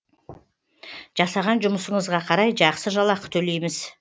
жасаған жұмысыңызға қарай жақсы жалақы төлейміз